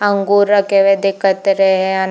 अंगूर रखे हुए दिखत रहे है।